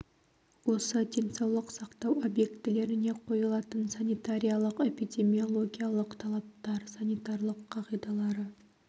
осы денсаулық сақтау объектілеріне қойылатын санитариялық-эпидемиологиялық талаптар санитариялық қағидалары